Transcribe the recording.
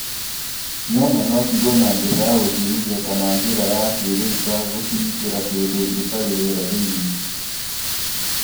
Nyanya no ciigũo na njĩra ya gũciũmithia kana na njĩra ya kĩrĩĩu ta gũciĩkĩra kĩndũ gĩtarĩ rĩera thĩinĩ .